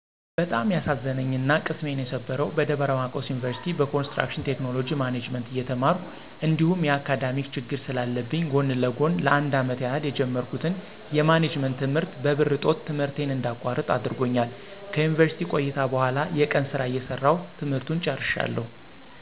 በጣም ያሳዘነኝና ቅስሜን የሰበረው በደብረማርቆስ ዩኒቭርሲቲ በኮንስትራክሽን ቴክኖሎጅ ማኔጅመንት እየተማርሁ እንዲሁም የአካዳሜክ ችግር ስለለብኝ ጎን ለጎን ለ፩አመት ያህል የጀመርሁትን የማኔጅመንት ት/ት በብር እጦት ት/ቴን እንዳቋርጥ አድርጎኛል። ከዩኒቭርስሲቲ ቆይታ በኋላ የቀን ስራ እየሰራሁ ት/ቱን ጨርሸዋለሁ።